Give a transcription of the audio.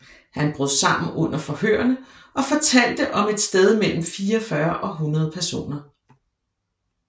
Han brød sammen under forhørene og fortalte om et sted mellem 44 og 100 personer